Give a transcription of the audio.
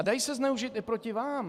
A dají se zneužít i proti vám.